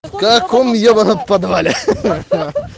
в каком ебанном подвале ха ха